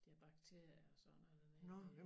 De har bakterier og sådan noget dernede